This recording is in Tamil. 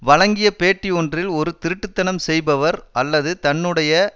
வழங்கிய பேட்டி ஒன்றில் ஒரு திருட்டுத்தனம் செய்பவர் அல்லது தன்னுடைய